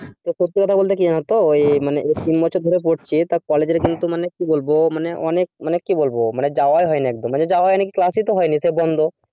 সত্যি কথা বলতে কি জানো তো ঐ মানে তিন বছর ধরে পড়ছি টা college কিন্তু মানে কি বলবো মানে অনেক মানে কি বলবো মানে যাওয়াই হয়নি একদম, মানে যাওয়া হয়নি কি class ই তো হয়নি সব বন্ধ